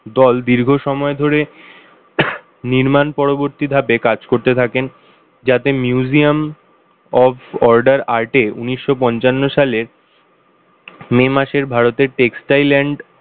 দল দীর্ঘ সময় ধরে নির্মাণ পরবর্তী ধাপে কাজ করতে থাকে যাতে Museum of Order Art এ উনিশশো পঞ্চান্নো সালের May মাসের ভারতের Textile and